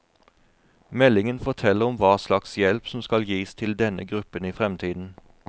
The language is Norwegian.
Meldingen forteller om hva slags hjelp som skal gis til denne gruppen i fremtiden.